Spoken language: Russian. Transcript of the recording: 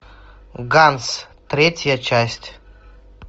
ганс третья часть